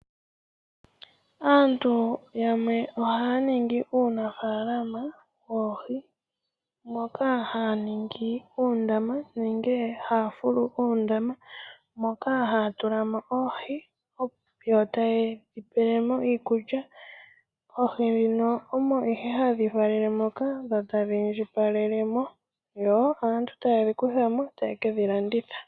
Aantu yamwe ohaya ningi uunafaalama woohi moka haya ningi uundama haya fulu oondama moka haya tulamo oohi ,yo tayedhi pelemo iikulya. Oohi ndhino omo nee hadhi valele moka dho tadhi indjipala yo aantu tayedhi kuthamo tayekedhi landitha.